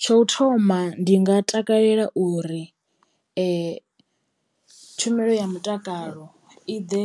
Tsho u thoma ndi nga takalela uri tshumelo ya mutakalo i ḓe